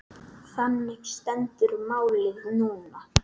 Þannig stendur málið núna.